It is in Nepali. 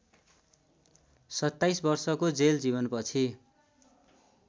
सत्ताईस वर्षको जेल जीवनपछि